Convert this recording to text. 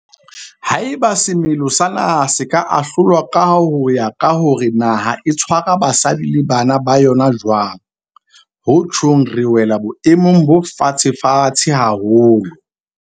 Haeba semelo sa naha se ka ahlolwa ho ya ka hore na naha e tshwara basadi le bana ba yona jwang, ho tjhong re wela boemong bo fatshefatshe haholo.